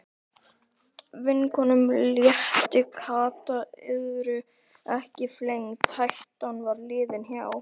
Vinkonunum létti, Kata yrði ekki flengd, hættan var liðin hjá.